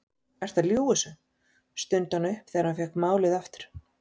Ertu að ljúga þessu? stundi hann upp þegar hann fékk málið aftur.